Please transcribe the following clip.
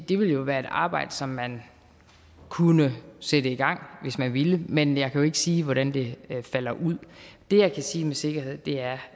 det ville være et arbejde som man kunne sætte i gang hvis man ville men jeg kan jo ikke sige hvordan det falder ud det jeg kan sige med sikkerhed er